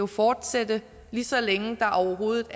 fortsætte lige så længe der overhovedet